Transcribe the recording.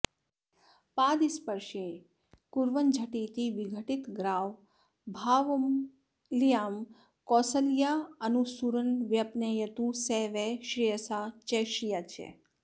पादस्पर्शेन कुर्वञ्झटिति विघटितग्रावभावामहल्यां कौसल्यासूनुरूनं व्यपनयतु स वः श्रेयसा च श्रिया च